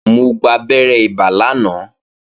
Mo gbabẹ́rẹ́ ibà lánàá